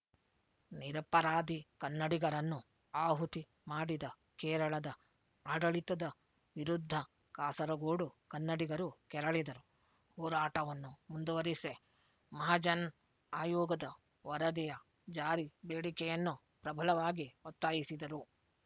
ನಿರಪರಾಧಿ ಕನ್ನಡಿಗರನ್ನು ಆಹುತಿ ಮಾಡಿದ ಕೇರಳದ ಆಡಳಿತದ ವಿರುದ್ಧ ಕಾಸರಗೋಡು ಕನ್ನಡಿಗರು ಕೆರಳಿದರು ಹೋರಾಟವನ್ನು ಮುಂದುವರಿಸಿ ಮಹಜನ್ ಆಯೋಗದ ವರದಿಯ ಜಾರಿ ಬೇಡಿಕೆಯನ್ನು ಪ್ರಬಲವಾಗಿ ಒತ್ತಾಯಿಸಿದರು